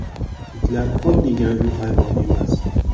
Itlar oddiygina uy hayvoni emas.